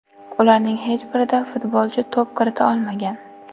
Ularning hech birida futbolchi to‘p kirita olmagan.